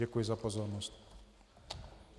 Děkuji za pozornost.